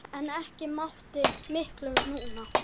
En ekki mátti miklu muna.